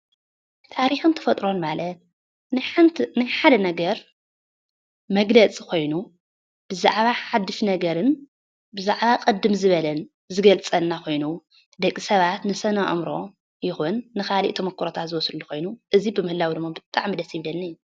ታሪክን ተፈጥሮን ማለት ናይ ሓደ ነገር መግለፂ ኮይኑ ብዛዕባ ሓዱሽ ነገርን ብዛዕባ ቅድም ዝበለን ዝገልፀልና ኮይኑ ደቂ ሰባት ንስነ-አእምሮኦም ይኩን ንካሊእ ተሞክሮታት ዝወስድሉ ኮይኑ እዚ ምህላው ድማ ብጣዕሚ እዩ ደስ ዝብለኒ፡፡